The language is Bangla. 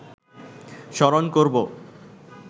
স্মরণ করব